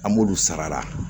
An b'olu sara